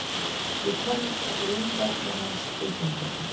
Ég kann hreyfingar hans utanbókar.